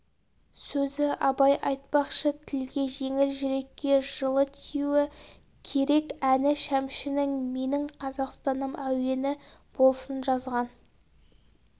сөзі абай айтпақшы тілге жеңіл жүрекке жылы тиюі керек әні шәмшінің менің қазақстаным әуені болсын жазған